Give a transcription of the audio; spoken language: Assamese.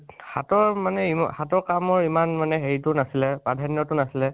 হাতৰ মানে, ই হাতৰ কামৰ ইমান মনে হেৰিটো নাছিলে, প্ৰধান্য টো নাছিলে